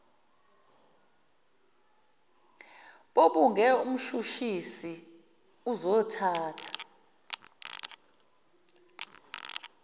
bobuge mshushisi uzothatha